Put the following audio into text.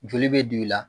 Joli bɛ don i la